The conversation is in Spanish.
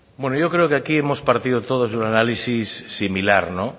bueno yo creo que aquí hemos partido todos de un análisis similar no